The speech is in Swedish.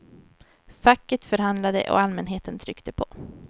Facket förhandlade och allmänheten tryckte på.